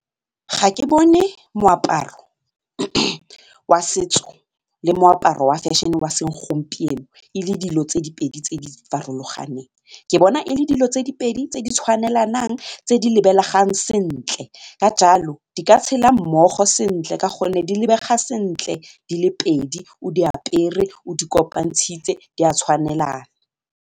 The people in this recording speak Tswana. Ga ke bone moaparo wa setso le moaparo wa fashion-e wa segompieno e le dilo tse di pedi tse di farologaneng, ke bona e le dilo tse di pedi tse di tshwanelanang tse di lebegang sentle ka jalo di ka tshela mmogo sentle ka gonne di lebega sentle di le pedi o di apere o di kopantshitse di a tshwanelana.